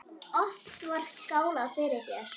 Oft var skálað fyrir þér.